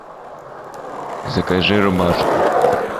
закажи рубашку